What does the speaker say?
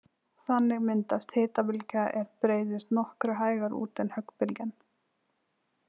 Þannig myndast hitabylgja er breiðist nokkru hægar út en höggbylgjan.